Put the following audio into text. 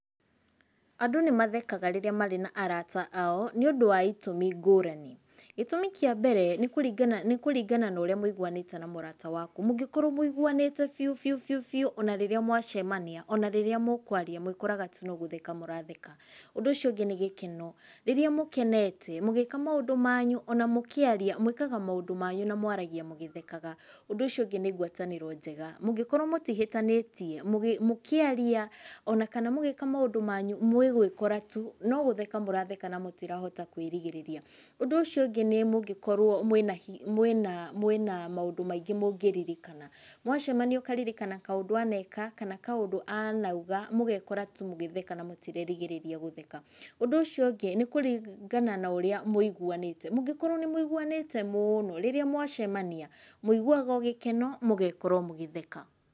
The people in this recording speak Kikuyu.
Andũ nĩ mathekaga rĩrĩa marĩ na arata ao nĩũndũ wa itũmi ngũrani. Gĩtũmi kĩa mbere nĩ kũringana, nĩ kũringana norĩa mũiguanĩte na mũrata waku. Mũngĩkorwo mũiguanĩte biu, biu, biu, biu, ona rĩrĩa mwacemania, ona rĩrĩa mwĩkwaria mwĩkoraga tu nogũtheka mũratheka. Ũndũ ũcio ũngĩ, nĩ gĩkeno. Rĩrĩa mũkenete mũgĩĩka maũndũ manyu ona mũkĩaria, mwĩkaga maũndũ manyu na mwaragia mũgĩthekaga. Ũndũ ũcio ũngĩ ,nĩ ngwatanĩro njega. Mũngĩkorwo mũtihĩtanĩtie mũgĩ, mũkĩaria ona kana mũgĩĩka maũndũ manyu mwĩgũĩkora tu no gũtheka mũratheka na mũtirahota kwĩrigĩrĩria. Ũndũ ũcio ũngĩ, nĩ mũngĩkorwo mwĩna hi, mwĩna, mwĩna maũndũ maingĩ mũngĩririkana. Mwacemania ũkaririkana kaũndũ aneka kana kaũndũ anauga mũgekora tu mũgĩtheka na mũtirerigĩrĩria gũtheka. Ũndũ ũcio ũngĩ, nĩ kũringana norĩa mũiguanĩte. Angĩkorwo nĩ mũiguanĩte mũno, rĩrĩa mwacemania mũiguaga o gĩkeno mũgekora o mũgĩtheka.